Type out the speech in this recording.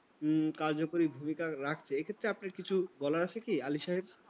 কার্যকরী ভূমিকা রাখছে। এক্ষেত্রে আপনার কিছু বলার আছে কি আলী সাহেব?